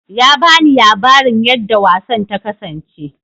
Ya bani labarin yarda wasan ta kasance